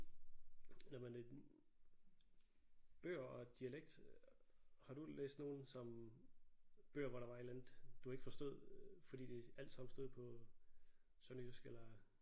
Nåh men øh bøger og dialekt har du læst nogle som bøger hvor der var et eller andet du ikke forstod fordi det alt sammen stod på sønderjysk eller